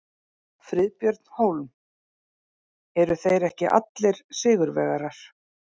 Friðbjörn Hólm: Eru þeir ekki allir sigurvegarar?